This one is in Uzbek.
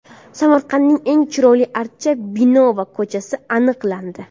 Samarqandning eng chiroyli archa, bino va ko‘chasi aniqlandi.